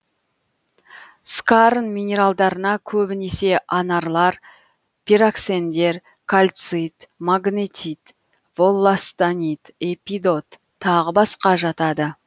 скарн минералдарына көбінесе анарлар пироксендер кальцит магнетит волластонит эпидот тағы басқа жатады